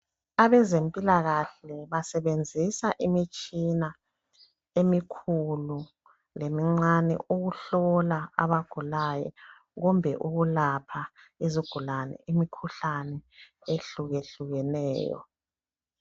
Abezempilakahle basebenzisa imitshina emikhulu lemincane ukuhlola abagulayo kumbe ukulapha izigulani imikhuhlane ehlukehlukeneyo